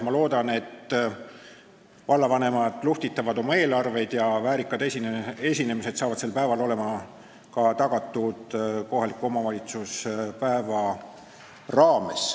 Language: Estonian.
Ma loodan, et vallavanemad luhvtitavad oma eelarveid ja väärikad esinemised on tagatud ka kohaliku omavalitsuspäeva raames.